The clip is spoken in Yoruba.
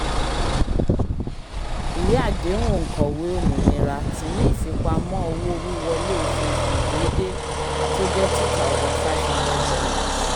ìwé àdéhùn òǹkọ̀wé òmìnira ti ní ìfipamọ́ owó-wíwọlé oṣooṣù déédé tó jẹ́ ́cs] two thousand five hundred dollars